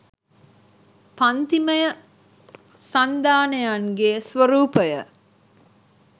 පංතිමය සන්ධානයන්ගේ ස්වරූපය